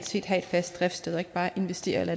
skal have et fast driftssted og ikke bare investere et